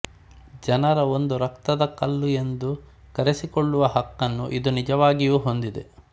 ಜನರ ಒಂದು ರತ್ನದ ಕಲ್ಲು ಎಂದು ಕರೆಸಿಕೊಳ್ಳುವ ಹಕ್ಕನ್ನು ಇದು ನಿಜವಾಗಿಯೂ ಹೊಂದಿದೆ